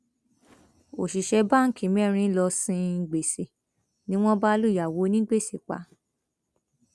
òṣìṣẹ báǹkì mẹrin lóò sin gbèsè ni wọn bá lùyàwó onígbèsè pa